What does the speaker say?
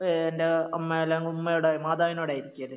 എൻറെ അമ്മ അല്ലേ ഉമ്മയോട് മാതാവിനോടായിരിക്കുകേലേ